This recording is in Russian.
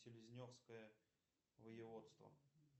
селезневское воеводство